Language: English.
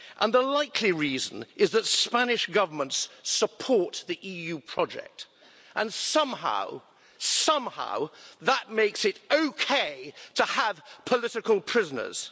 The likely reason is that Spanish governments support the EU project and, somehow, that makes it okay to have political prisoners.